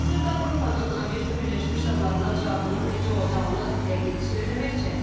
Hazırda Avropanın Amerika Birləşmiş Ştatlarına cavabının necə olacağını dəqiq söyləmək çətindir.